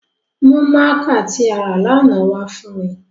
Mu mạạka ti a ra lana wa fun mi!